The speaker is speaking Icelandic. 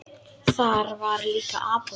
Þar var líka apótek.